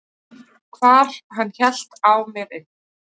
hvar hann hélt á mer inn.